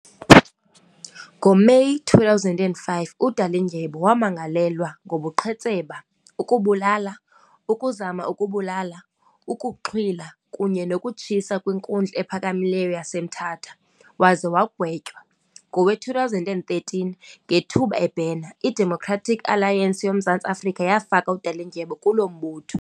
NgoMeyi 2005, uDalindyebo wamangalelwa ngobuqhetseba, ukubulala, ukuzama ukubulala, ukuxhwila, kunye nokutshisa kwiNkundla ePhakamileyo yaseMthatha, waze wagwetywa. Ngowe2013, ngethuba ebhena, iDemocratic Alliance yoMzantsi Afrika yafaka uDalindyebo kulo mbutho.